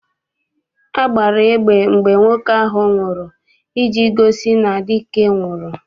A gbara egbe mgbe nwoke ahụ nwụrụ iji gosi na dike nwụrụ.